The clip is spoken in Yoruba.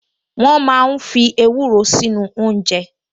Wọ́n máa ń fi ewúro sínú oúnjẹ